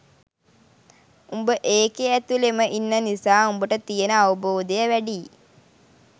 උඹ ඒකේ ඇතුලෙම ඉන්න නිසා උඹට තියෙන අවබෝධය වැඩියි